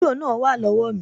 Bírò náà wà lówá mi